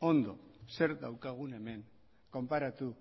ondo zer daukagun hemen konparatu